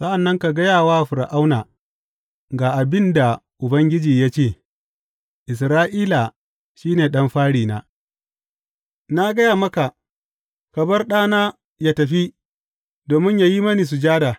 Sa’an nan ka gaya wa Fir’auna, Ga abin da Ubangiji ya ce; Isra’ila shi ne ɗan farina, na gaya maka, Ka bar ɗana yă tafi domin yă yi mini sujada.